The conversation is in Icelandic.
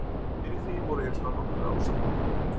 Fyrir því voru hins vegar nokkrar ástæður.